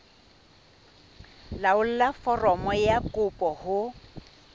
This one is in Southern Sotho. laolla foromo ya kopo ho